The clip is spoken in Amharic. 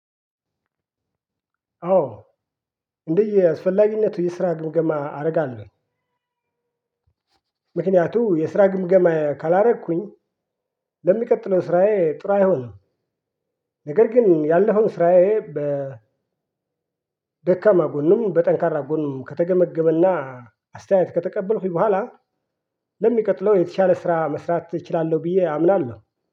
አዎ እንደየአስፈላጊነቱ የስራ ግምገማ አደርጋለሁ። ምክንያቱም የስራ ግምገማ ካላደረኩኝ ለሚቀጥለው ስራዬ ጥሩ አይሆንም። ነገር ግን ያለውን ስራዬ። በደካማ ጎንም በጠንካራ ጎንም ከተገመገመና አስተያየት ከተቀበልኩኝ በኋላ ለሚቀጥለው የተሻለ ስራ መስራት እችላለሁ። ብዬ አምናለሁ